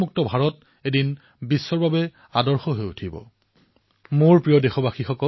আৰু মোক জনোৱা হৈছে যে ১৩ দিনৰ ভিতৰত অৰ্থাৎ ২ সপ্তাহৰ ভিতৰত প্ৰায় ৪০০০ কিলোতকৈও অধিক প্লাষ্টিক আৱৰ্জনা সমুদ্ৰৰ পৰা উলিওৱা হৈছে